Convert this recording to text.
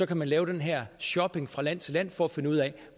kan man lave den her shopping fra land til land for at finde ud af